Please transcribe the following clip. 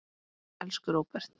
Elsku Róbert.